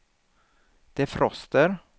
defroster